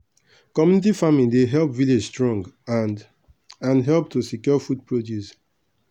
community farming dey help village strong and and help to secure food produce.